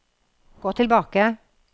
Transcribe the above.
gå tilbake